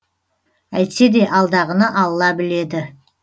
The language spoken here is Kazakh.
әйтсе де алдағыны алла біледі